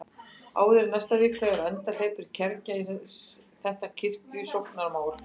Áður en næsta vika er á enda hleypur kergja í þetta kirkjusóknarmál.